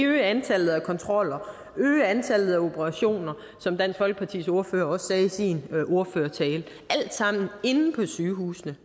øge antallet af kontroller øge antallet af operationer som dansk folkepartis ordfører også sagde i sin ordførertale alt sammen inde på sygehusene